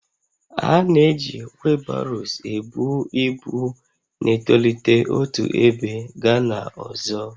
A na-eji wheelbarrows ebu ibu na-etolite otu ebe gaa n'ọzọ